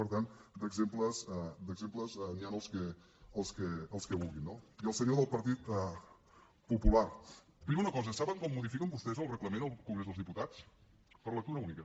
per tant d’exemples n’hi han els que vulguin no i al senyor del partit popular primer una cosa saben com modifiquen vostès el reglament al congrés de diputats per lectura única